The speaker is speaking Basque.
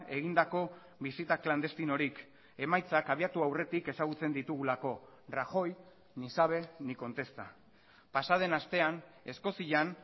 egindako bisita klandestinorik emaitzak abiatu aurretik ezagutzen ditugulako rajoy ni sabe ni contesta pasa den astean eskozian